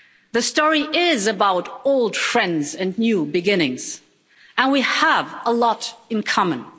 The story is about old friends and new beginnings, and we have a lot in common.